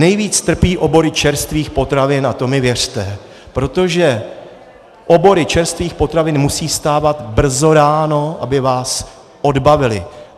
Nejvíce trpí obory čerstvých potravin, a to mi věřte, protože obory čerstvých potravin musí vstávat brzy ráno, aby vás odbavily.